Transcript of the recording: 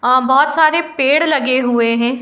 और बोहोत सारे बोहोत सारे पेड़ लगे हुए हैं।